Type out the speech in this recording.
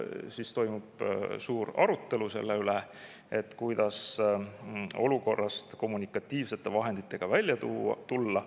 Ja siis toimub suur arutelu selle üle, kuidas olukorrast kommunikatiivsete vahenditega välja tulla.